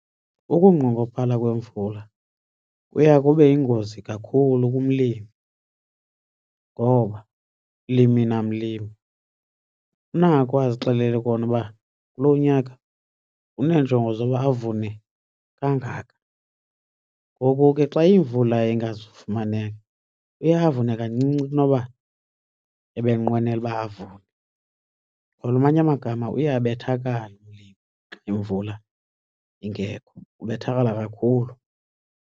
Ukungqongophala kwemvula kuya kube yingozi kakhulu kumlimi ngoba mlimi namlimi unako azixelele kona uba kulo nyaka uneenjongo zoba avune kangaka. Ngoku ke xa imvula ingazufumaneka uye avune kancinci kunoba ebenqwenela uba avune or amanye amagama uye abethakale xa imvula ingekho, ubethakala kakhulu.